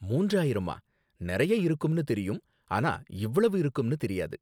மூன்றாயிரமா, நறையா இருக்கும்னு தெரியும், ஆனா இவ்ளோ இருக்கும்னு தெரியாது